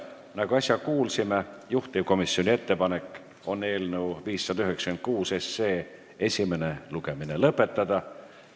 Nagu äsja kuulsime, juhtivkomisjoni ettepanek on eelnõu 596 esimene lugemine lõpetada.